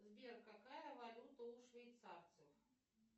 сбер какая валюта у швейцарцев